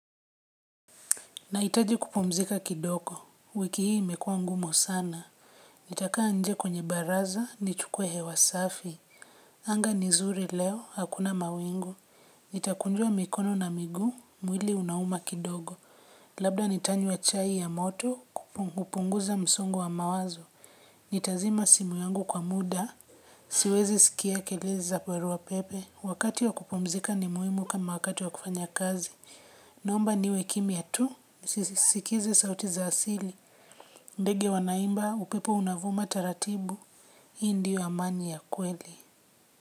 Nahitaji kupumzika kidogo, wiki hii imekuwa ngumu sana. Nitakaa nje kwenye baraza, nichukue hewa safi. Anga ni zuri leo, hakuna mawingu. Nitakunjua mikono na miguu, mwili unauma kidogo. Labda nitanywa chai ya moto, kupunguza msongo wa mawazo. Nitazima simu yangu kwa muda, siwezi sikia kelele za barua pepe. Wakati wa kupumzika ni muhimu kama wakati wa kufanya kazi. Naomba niwe kimya tu, nisisikize sauti za asili, ndege wanaimba, upepo unavuma taratibu, hii ndiyo amani ya kweli.